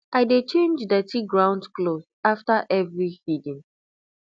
i dey change dirty ground cloth after every feeding